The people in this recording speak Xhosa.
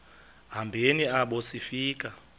hambeni apho sifika